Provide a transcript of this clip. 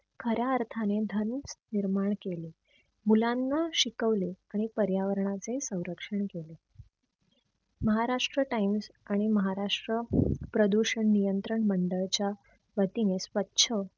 खऱ्या अर्थाने निर्माण केले. मुलांना शिकवले आणि पर्यावरणाचे सैरक्षण केले महाराष्ट्र times आणि महाराष्ट्र प्रदूषण नियंत्रण मंडळच्या वतीने स्वछ